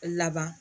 Laban